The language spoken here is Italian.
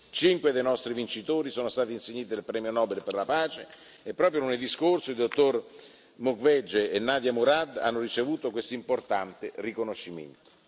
Cinque dei nostri vincitori sono stati insigniti del Premio Nobel per la pace, e proprio lunedì scorso il dottor Denis Mukwege e Nadia Murad hanno ricevuto questo importante riconoscimento.